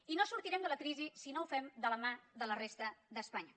i no sortirem de la crisi si no ho fem de la mà de la resta d’espanya